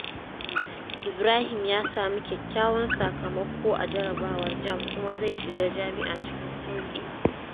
Ibrahim ya sami kyakkyawan sakamako a jarabawar JAMB kuma zai shiga jami’a cikin sauƙi.